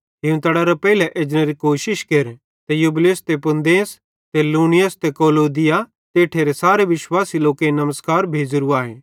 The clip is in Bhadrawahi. हीवतड़ेरे पेइले एजनेरी कोशिश केर ते यूबूलुस ते पूदेंस ते लीनुस ते क्लौदिया ते इठेरे सारे विश्वासी लोकेईं नमस्कार भेज़ेरू आए